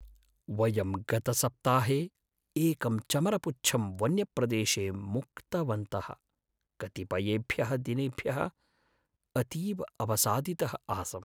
वयं गतसप्ताहे एकम् चमरपुच्छं वन्यप्रदेशे मुक्तवन्तः, कतिपयेभ्यः दिनेभ्यः अतीव अवसादितः आसम्।